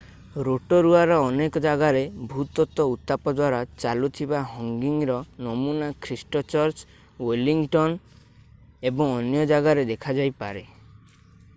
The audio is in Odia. ରୋଟୋରୁଆ ର ଅନେକ ଜାଗାରେ ଭୂତତ୍ତ୍ଵ ଉତ୍ତାପ ଦ୍ଵାରା ଚାଲୁଥିବା ହଙ୍ଗି ର ନମୁନା ଖ୍ରୀଷ୍ଟ ଚର୍ଚ ୱେଲିଙ୍ଗଟନ ଏବଂ ଅନ୍ୟ ଜାଗାରେ ଦେଖାଯାଇପାରେ